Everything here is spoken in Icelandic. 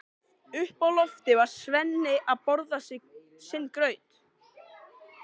Uppi á lofti var Svenni að borða sinn graut.